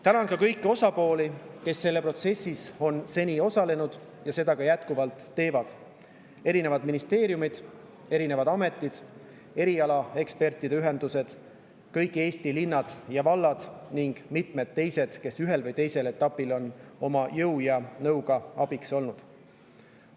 Tänan kõiki osapooli, kes selles protsessis on seni osalenud ja seda ka jätkuvalt teevad: ministeeriumid, ametid, erialaekspertide ühendused, kõik Eesti linnad ja vallad ning mitmed teised, kes ühel või teisel etapil on jõu ja nõuga abiks olnud.